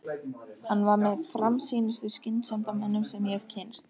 Hann var með framsýnustu skynsemdarmönnum sem ég hef kynnst.